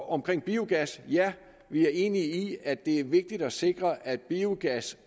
omkring biogas ja vi er enige i at det er vigtigt at sikre at biogas